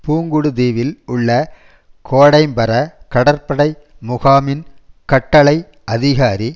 புங்குடு தீவில் உள்ள கோடைம்பர கடற்படை முகாமின் கட்டளை அதிகாரி